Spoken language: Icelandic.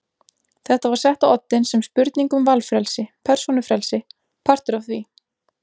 Þetta var sett á oddinn sem spurning um valfrelsi, persónufrelsi, partur af því.